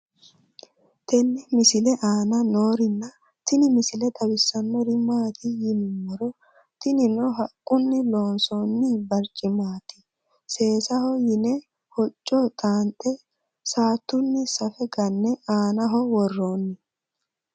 tenne misile aana noorina tini misile xawissannori maati yinummoro tinninno haquunni loonsoonni bariccimmatti seessaho yinna hocco xaanxxe saattu saffe ganne aannaho woroonni